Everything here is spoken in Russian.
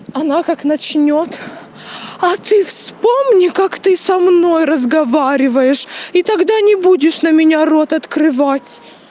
она как начнёт а ты вспомни как ты со мной разговариваешь и тогда не будешь на меня рот открывать